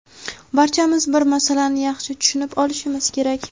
barchamiz bir masalani yaxshi tushunib olishimiz kerak.